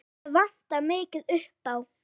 Það vantar mikið upp á.